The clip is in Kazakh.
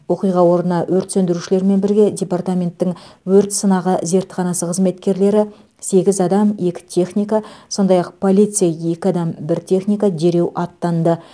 оқиға орнына өрт сөндірушілермен бірге департаменттің өрт сынағы зертханасы қызметкерлері сегіз адам екі техника сондай ақ полиция екі адам бір техника дереу аттанды